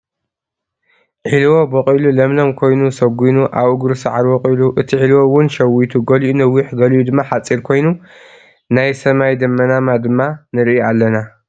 ዒልቦ በቂሉ ለምለም ኮይኑ ሰጊኑ ኣብ እግሩ ሳዕሪ ወቂሉ እትዒልዎ እውን ሸዊቱ ገሊኡ ነዊሕ ገሊኡ ድማ ሓፂር ኮይኑ ናይ ሰማይ ደመናማ ድማ ንርኢ ኣለና።